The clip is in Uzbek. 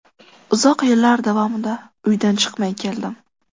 Uzoq yillar davomida uydan chiqmay keldim.